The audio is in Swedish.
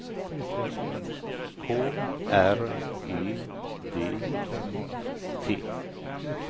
K R E D I T